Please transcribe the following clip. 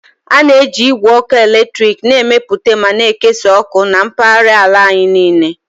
A na-eji igwe ọkụ eletrik na-emepụta ma na-ekesa ọkụ na mpaghara ala anyị niile